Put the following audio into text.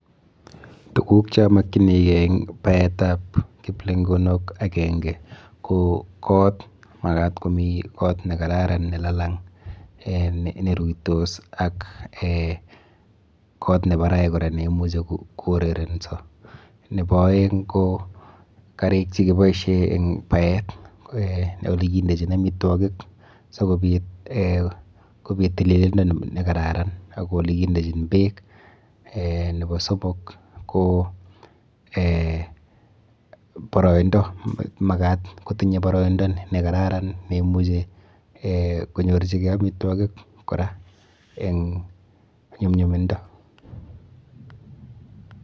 Tukuk cheamakchinikei eng baetap kiplenkonok akenke ko kot. Makat komi kot nekararan nelalang neruitos ak eh kot nebarai kora neimuchi kourerenso. Nepo aeng ko karik chekipoishe eng paet eh olikindechin amitwokik sikopit eh kopit tililindo nekararan ak olekindechin beek. Nepo somok ko eh boroindo. Makat kotinye boroindo nekararan neimuchi konyorchikei amitwokik kora eng nyumyumindo.